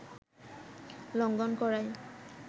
লঙ্ঘন করায়